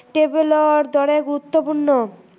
tablet ৰ দৰে গুৰুত্ৱপূৰ্ণ